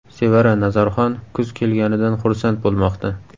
Sevara Nazarxon kuz kelganidan xursand bo‘lmoqda.